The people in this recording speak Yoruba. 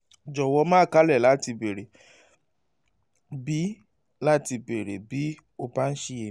jọ̀wọ́ má káàárẹ̀ láti béèrè bí láti béèrè bí o bá ń ṣiyèméjì